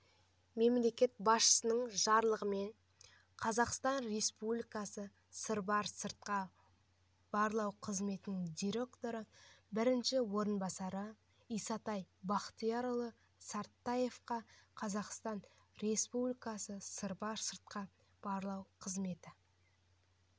мемлекет басшысының жарлығымен қазақстан республикасы сырбар сыртқа барлау қызметі директорының бірінші орынбасары исатай бақтиярұлы сартаевқа қазақстан республикасы сырбар сыртқы барлау қызметі